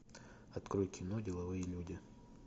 открой кино деловые люди